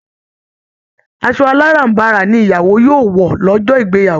Asọ aláràm̀barà ni ìyàwó yòo wọ lọ́jọ́ ìgbeyàwó